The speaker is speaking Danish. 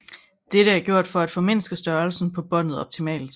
Dette er gjort for at formindske størrelsen på båndet optimalt